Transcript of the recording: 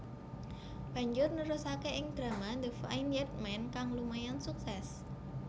Banjur nerusake ing drama The Vineyard Man kang lumayan sukses